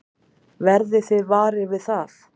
Verðið þið varir við það?